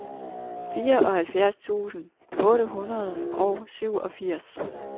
fireoghalvfjerds tusind otte hundrede og syvogfirs